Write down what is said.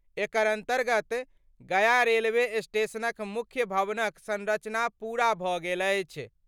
एकर अन्तर्गत गया रेलवे स्टेशनक मुख्य भवनक संरचना पूरा भऽ गेल अछि।